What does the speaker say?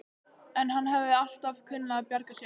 En hann hafði alltaf kunnað að bjarga sér.